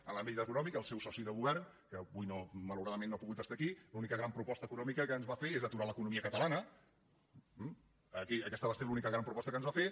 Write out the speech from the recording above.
en l’àmbit econòmic el seu soci de govern que avui malauradament no ha pogut estar aquí l’única gran proposta econòmica que ens va fer és aturar l’economia catalana eh aquesta va ser l’única gran proposta que ens va fer